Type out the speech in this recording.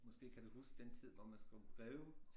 Måske kan du huske den tid hvor man skrev breve